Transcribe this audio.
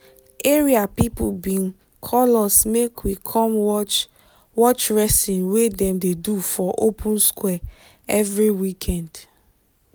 area people bin call us make we come watch watch wrestling wey dem dey do for open square every weekend